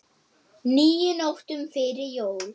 níu nóttum fyrir jól